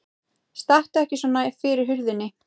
Stattu ekki svona fyrir hurðinni!